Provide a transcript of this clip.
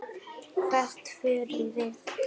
Hvert förum við?